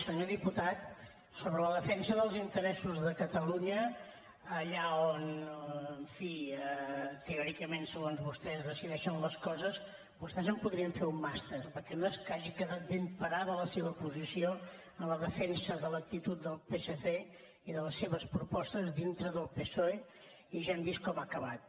senyor diputat sobre la defensa dels interessos de catalunya allà on en fi teòricament segons vostè es decideixen les coses vostès en podrien fer un màster perquè no és que hagi quedat ben parada la seva posició en la defensa de l’actitud del psc i de les seves propostes dintre del psoe i ja hem vist com ha acabat